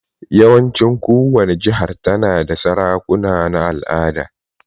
Yawancin kowani jihar ta na da sarakuna na al'ada.